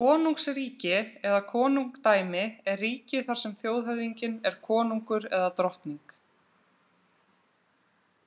Konungsríki eða konungdæmi er ríki þar sem þjóðhöfðinginn er konungur eða drottning.